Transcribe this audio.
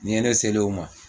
N'i ye ne selen o ma